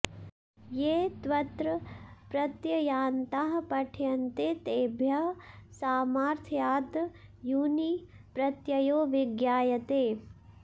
ये त्वत्र प्रत्ययान्ताः पठ्यन्ते तेभ्यः सामार्थ्याद् यूनि प्रत्ययो विज्ञायते